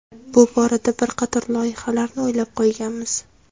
Bu borada bir qator loyihalarni o‘ylab qo‘yganmiz.